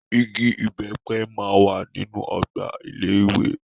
Ìgi ìbépe ma wà nínú ọgbà ilé ìwé.